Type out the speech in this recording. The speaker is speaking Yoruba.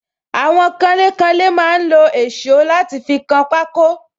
Àwọn kanlé kanlé máa ń lo èsó láti fi kan pako